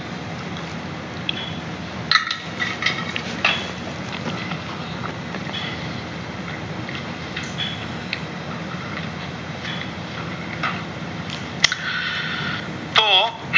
તો